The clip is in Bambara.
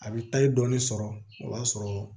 A bɛ taa i dɔɔni sɔrɔ o b'a sɔrɔ